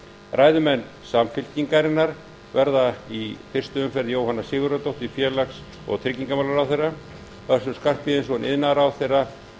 ræðumenn samfylkingarinnar verða í fyrstu umferð jóhanna sigurðardóttir félags og tryggingamálaráðherra össur skarphéðinsson iðnaðarráðherra